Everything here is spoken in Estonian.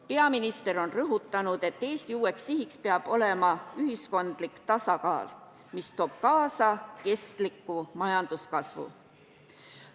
Peaminister on rõhutanud, et Eesti uus siht peab olema ühiskondlik tasakaal, mis toob kaasa kestliku majanduskasvu.